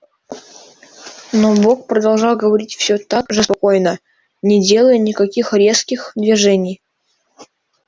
но бог продолжал говорить всё так же спокойно не делая никаких резких движений